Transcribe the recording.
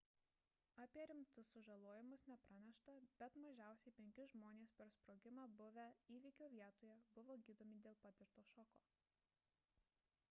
apie rimtus sužalojimus nepranešta bet mažiausiai penki žmonės per sprogimą buvę įvykio vietoje buvo gydomi dėl patirto šoko